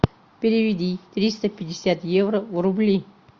переведи триста пятьдесят евро в рубли